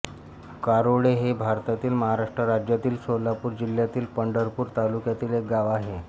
कारोळे हे भारतातील महाराष्ट्र राज्यातील सोलापूर जिल्ह्यातील पंढरपूर तालुक्यातील एक गाव आहे